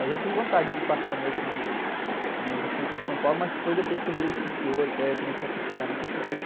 Eu já tive vontade de passar a noite no, no, no centro de São Paulo, mas foi depois que eu virei escritor, que aí eu comecei a pesquisar muitas coisas.